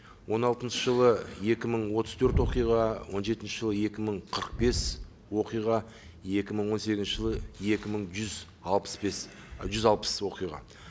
он алтыншы жылы екі мың отыз төрт оқиға он жетінші жылы екі мың қырық бес оқиға екі мың он сегізінші жылы екі мың жүз алпыс бес жүз алпыс оқиға